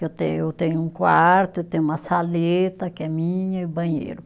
Eu tenho, eu tenho um quarto, tenho uma saleta que é minha e o banheiro.